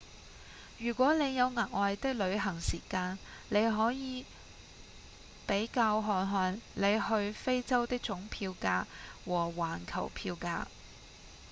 如果你有額外的旅行時間你可以比較看看你去非洲的總票價和環球票價